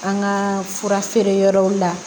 An ka fura feere yɔrɔw la